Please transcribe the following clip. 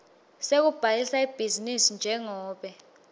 sekubhalisa ibhizinisi njengobe